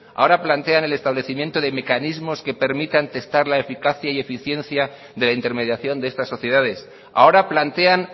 ahora plantean el establecimiento de mecanismos que permitan testar la eficacia y eficiencia de la intermediación de estas sociedades ahora plantean